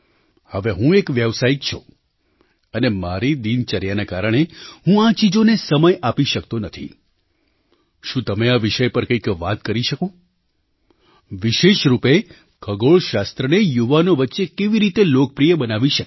હવે હું એક વ્યાવસાયિક છું અને મારી દિનચર્યાના કારણે હું આ ચીજોને સમય આપી શકતો નથીશું તમે આ વિષય પર કંઈક વાત કરી શકો વિશેષ રૂપે ખગોળશાસ્ત્રને યુવાનો વચ્ચે કેવી રીતે લોકપ્રિય બનાવી શકાય